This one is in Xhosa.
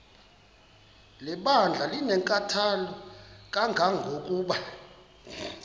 lebandla linenkathalo kangangokuba